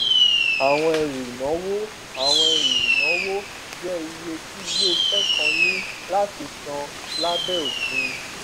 àwọn ẹrù ìnáwó àwọn ẹrù ìnáwó jẹ iye tí iléiṣẹ kan ní láti san lábẹ òfin